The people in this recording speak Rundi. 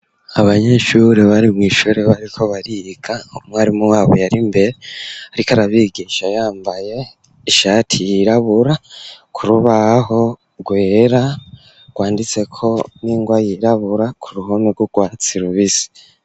Abanyeshure bari mw'ishure bariko bariga umwarimu wabo yari mbere ariko arabigisha yambaye ishati yirabura ku rubaho rwera rwanditseko n'ingwa yirabura ku ruhome rw'urwatsi rubisi.